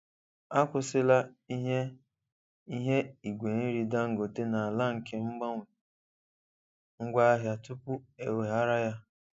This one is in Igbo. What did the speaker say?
Akwụsịla ihe ihe igwe nri Dangote n'ala nke mgbanwe ngwaahịa tupu eweghara ya.